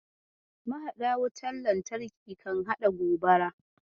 Mahaɗa wutar lantarki kan haɗa gobara.